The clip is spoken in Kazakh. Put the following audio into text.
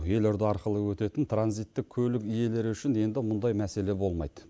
елорда арқылы өтетін транзиттік көлік иелері үшін енді мұндай мәселе болмайды